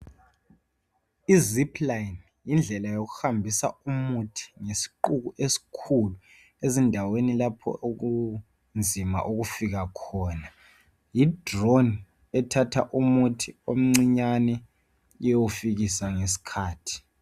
Izipline yindlela yokuhambisa umuthi ngesiqubu esikhulu ezindaweni lapho okunzima ukufika khona yidrone ethatha umuthi omncinyane iyewufikisa ngesikhathi